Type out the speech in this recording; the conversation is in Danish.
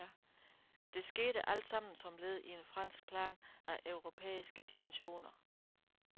De skete altsammen som led i en fransk plan af europæiske dimensioner.